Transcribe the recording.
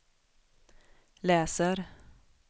läser